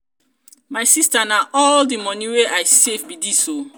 my sister na all the money wey i save be dis oo.